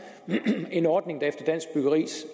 en ordning der efter dansk byggeris